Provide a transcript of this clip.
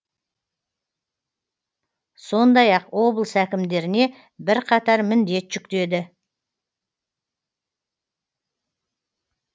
сондай ақ облыс әкімдеріне бірқатар міндет жүктеді